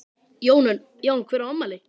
Jón Örn: Já hver á afmæli?